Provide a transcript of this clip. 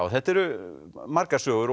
þetta eru margar sögur